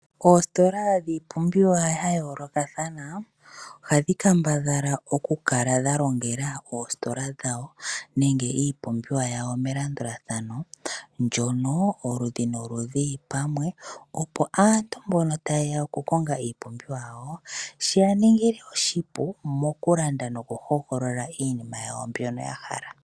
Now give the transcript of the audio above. Oositola dhiipumbiwa ya yoolokathana ohadhi kambadhala okukala dha longela oositola dhawo nenge iipumbiwa yawo melandulathano, ndjono oludhi noludhi lu li pamwe opo aantu mbono taye ya okukonga iipumbiwa yawo, shi ya ningile oshipu mokulanda nokuhogolola iinima yawo mbyoka ya hala.